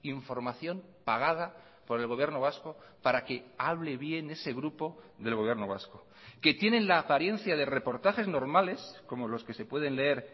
información pagada por el gobierno vasco para que hable bien ese grupo del gobierno vasco que tienen la apariencia de reportajes normales como los que se pueden leer